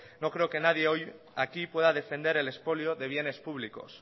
no creo que nadie hoy aquí pueda defender el expolio de bienes públicos